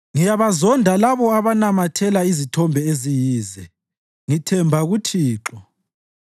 Ngiyabazonda labo abanamathela izithombe eziyize; ngithemba kuThixo.